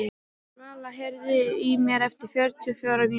Svala, heyrðu í mér eftir fjörutíu og fjórar mínútur.